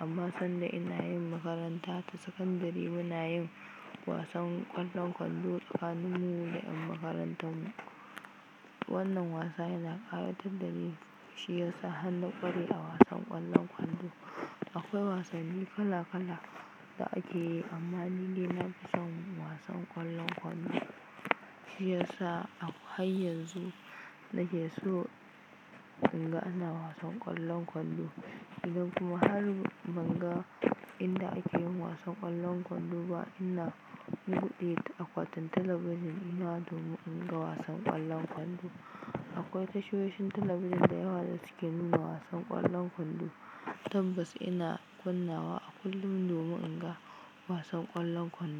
Amma lokacin da nake makarantar sakandare muna yin wasan ƙwallon kwando tsakanin mu da yan makarantar mu. Wannan wasa yana ƙayatar da ni. Shi yasa har na kware a wasan ƙwallon kwando. Akwai wasanni kala -kala da ake yi amma ni dai na fi son wasan ƙwallon kwando. Shi yasa har yanzu nake so in ga ana wasan ƙwallon kwando. Idan kuma har ban ga inda ake yin wasan ƙwallon kwando ba, ina buɗe akwatin talabijin dina domin in ga wasan ƙwallon kwando. Akwai tashoshin talabijin da yawa da suke nuna wasan ƙwallon kwando. Tabbas ina kunna wa a kullum domin in ga wasan ƙwallon kwando.